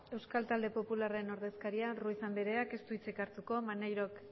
euskal talde popularraren ordezkaria ruiz andreak ez du hitzik hartuko maneirok